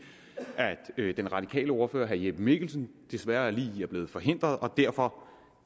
at den radikale ordfører herre jeppe mikkelsen desværre lige er blevet forhindret og derfor